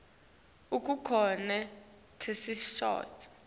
kukhona tesixhosa